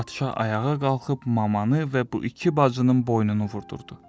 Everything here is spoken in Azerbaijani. Padşah ayağa qalxıb mamanı və bu iki bacının boynunu vurdurdu.